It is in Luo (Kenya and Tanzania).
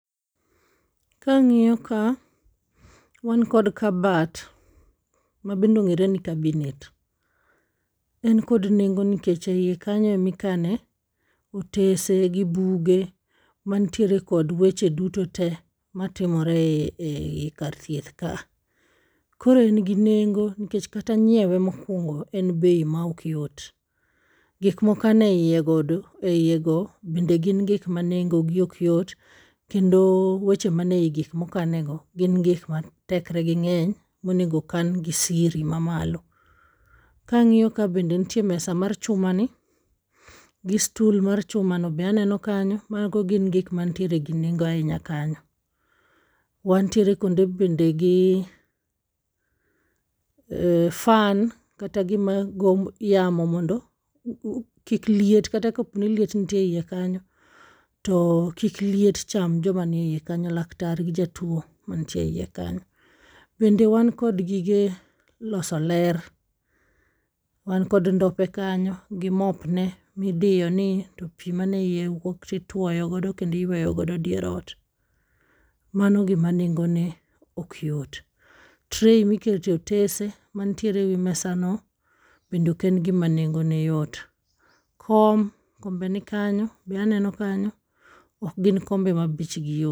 Kang'iyo ka, wankod kabat mabendong'ere ni kabinet. En kod nengo nikech e iye kanyo emikane otese gi buge mantiere kod weche duto te matimore ei kar thieth ka a. Koro en gi nenge nikech kata nyiewe mokwongo en bei ma ok yot. Gik mokaneiye go bende gin gik ma nengo gi ok yot, kendo weche mane i gik mokane go gin gik ma tekre gi ng'wny monego okan gi siri ma malo. Kang'iyo ka bende ntie mesa mar chuma ni, gi stul mar chuma no be aneno kanyo. Mago gin gik mantiere gi nengo ahinya kanyo. Wantiere kendo bende gi fan, kata gima go yamo mondo kik liet kata kok ni liet nitie eiye kanyo to kik liet cham joma niye iye kanyo, laktar gi jatuo mantie e iye kanyo. Bende wan kod gige loso ler, wankod ndope kanyo gi mop ne midiyo ni i to pi mane iye wuok tituoyo godo kendiyweyo godo dier ot. Mano gima nengone ok yot. Tray mikete otese mantiere ewi mesano bende ok en gima nengone yot. Kom, kombe ni kanyo, be aneno kanyo. Ok gin kombe ma bechgi yot.